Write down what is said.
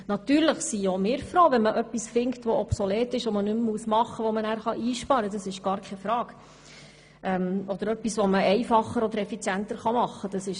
Natürlich sind auch wir froh, wenn man etwas findet, das obsolet ist und das man einsparen oder effizienter tun kann.